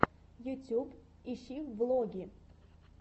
ютуб ищи влоги